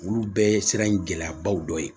Olu bɛɛ ye sira in gɛlɛyabaw dɔ ye